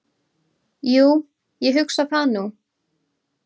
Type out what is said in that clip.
"""Jú, ég hugsa það nú."""